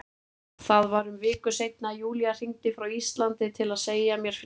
Það var um viku seinna að Júlía hringdi frá Íslandi til að segja mér fréttirnar.